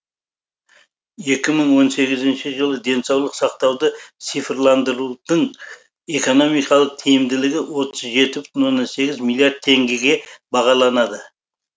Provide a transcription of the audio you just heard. екі мың он сегізінші жылы денсаулық сақтауды цифрландырудың экономикалық тиімділігі отыз жеті бүтін оннан сегіз миллиард теңгеге бағаланады